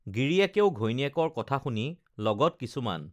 গিৰিয়েকেও ঘৈনীয়েকৰ কথা শুনি লগত কিছুমান